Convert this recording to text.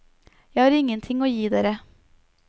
Jeg har ingenting å gi dere.